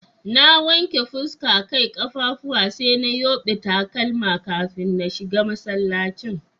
Na wanke fuska, Kai, kaffafuwa sai na yubbe takalma kafin na shiga masallacin.